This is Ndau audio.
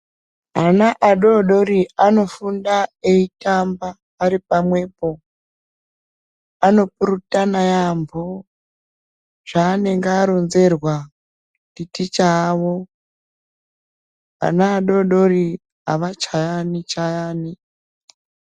Ana adodori anofunda eitamba ari pamwepo anopurutana yambo zvanenge aronzerwa nditicha awo ana adodori avachayani chayani.